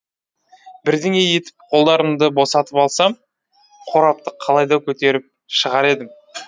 бірдеңе етіп қолдарымды босатып алсам қорапты қалайда көтеріп шығар едім